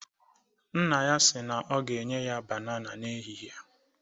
Nna ya si na ọ ga-enye ya banana n'ehịhịe.